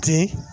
Ten